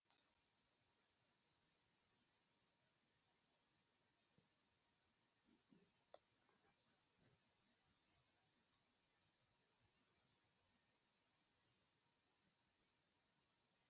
бұл өнім бағасын тұрақтандыруға бағытталған істер